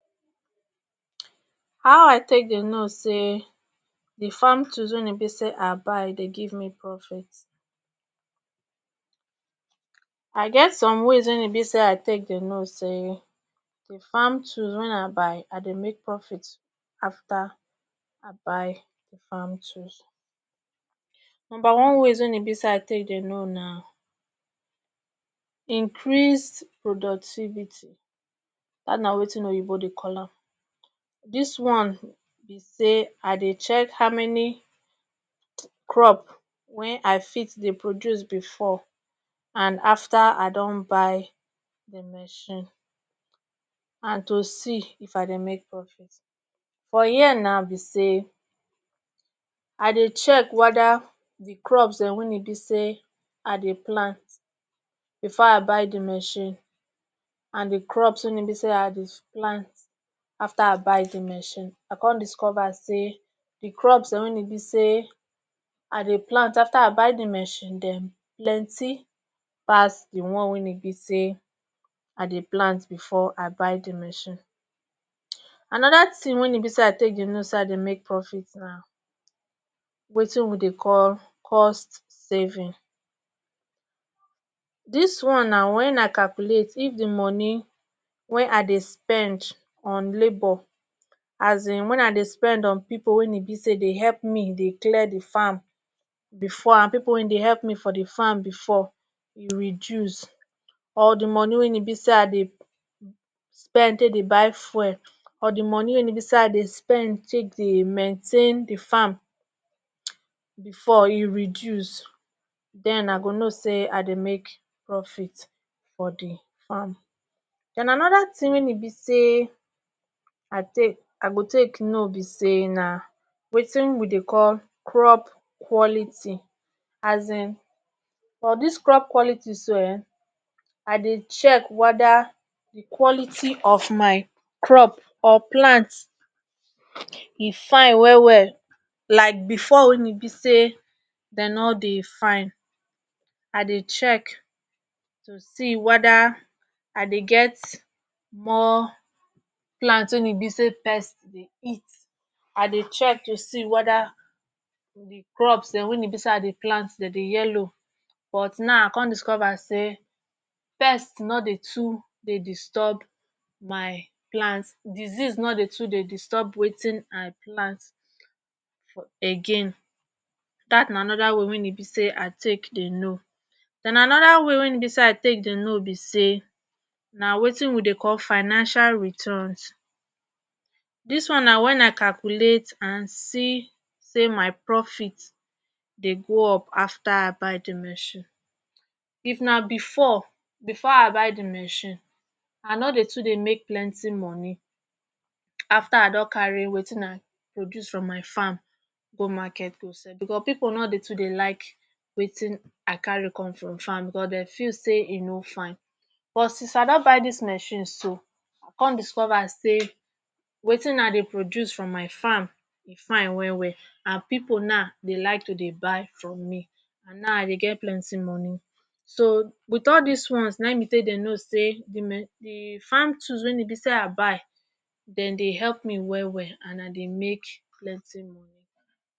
how i take dey no say di farm tools wen e be say i buy dey give me profit i get some ways wen e be say i take dey no say farm tools wen i buy i dey make profit afta i buy farm tools numba one ways wein be say i take dey know na increased productivity dat na wetin oyibo dey call am this one be say i dey check how many crop wen I fit dey produce and after i don buy machine and to see if I dey make profit buh here na the same I dey check weda crops den wein be say i dey plant before I buy the machine and di crops wein be say i dey plant after I buy the machine I come discover say di crops wein e be say i dey plant after I buy the machine Dem plenty pass the one wein be say i dey plant before I buy the machine anoda thin wein be say i take dey know say I dey make profit na wetin we dey call cost saving dis one na wen i calculate if the money wen I dey spend on labour um wen I dey spend on people wein be say dey help me dey clear the farm before and people wey dey help me for the farm before reduce or the money wein be say i dey spend take dey guy fuel or the money wen be say i dey spend take dey mentain the farm before e reduce then I go know say I dey make profit for the farm and anoda thin wein e be say i take I go take know be say na wetin we dey call crop quality um for crop quality so um I dey check weda quality of my crop or plant e fine well well like before wey e be say dey nor dey fine I dey check to see weda i dey get more plants wein e be say pests dey eat i dey check to see weda the crops dem wen I dey plant den dey yellow but now I Kon discover say pests nor dey too dey disturb my plants disease nor dey too dey disturb wetin I plant again that na anoda way wen e be say i take dey no den anoda way wein be say i take dey no be say na wetin we dey call financial returns this one na wen i calculate and see say my profit dey go up after I buy the machine if na before before I buy the machine I nor dey too dey make plenty money after I don carry wetin I produce from my farm go market go sell because people nor dey too dey like wetin I carry come from farm because dey feel say e nor fine but since I don buy this machine so come discover say wetin I dey produce from my farm e fine well well and people na dey like to dey buy from me and now I dey make plenty money so with all this ones nai I dey take dey know say the farm tools wein be say i buy them dey help me well well and i dey make plenty money